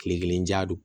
Kile kelen ja don